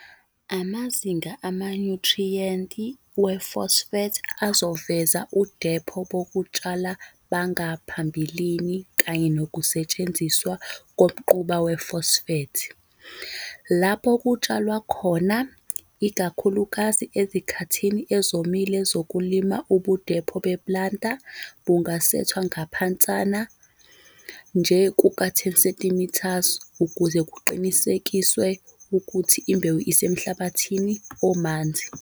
Amazinga amanyuthriyenti wefosfethi azoveza udepho bokutshala bangaphambilini kanye nokusetshenziswa komquba wefosfethi. Lapho kutshalwa khona, ikakhulukazi ezikhathini ezomile zokulima ubudepho beplanter bungasethwa ngaphansana nje kuka-10 cm ukuze kuqinisekiswe ukuthi imbewu isemhlabathini omanzi.